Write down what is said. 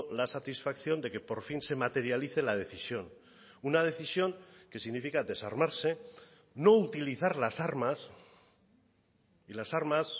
la satisfacción de que por fin se materialice la decisión una decisión que significa desarmarse no utilizar las armas y las armas